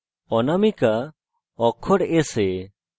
অনামিকা অক্ষর s এ